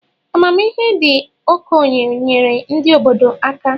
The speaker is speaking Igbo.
Amamihe ndi okenye nyeere ndi obodo aka.